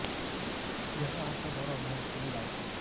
ଦେହ ହାତ ଗୋଡୋ ମୁହଁ ଫୁଲି ଯାଉଛି